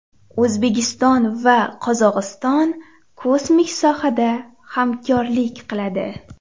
O‘zbekiston va Qozog‘iston kosmik sohada hamkorlik qiladi.